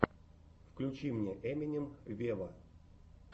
включи мне эминем вево